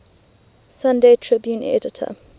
sunday tribune editor